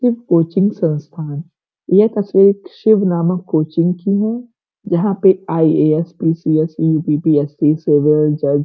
ये कोचिंग संस्थान यह किसी शिव नामक कोचिंग की है। यहाँ पे आई.ए.एस. पी.सी.एस. यु.पी.पी.एस.सी. सिविल जज --